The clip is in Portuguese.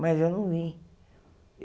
Mas eu não vim.